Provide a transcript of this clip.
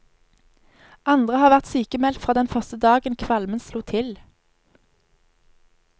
Andre har vært sykmeldt fra den første dagen kvalmen slo til.